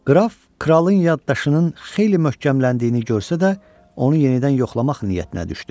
Qraf kralın yaddaşının xeyli möhkəmləndiyini görsə də, onu yenidən yoxlamaq niyyətinə düşdü.